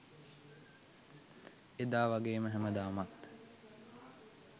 එදා වගේම හැමදාමත්